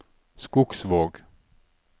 Skogsvåg